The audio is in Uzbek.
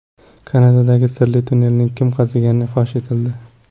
Kanadadagi sirli tunnelni kim qazigani fosh etildi.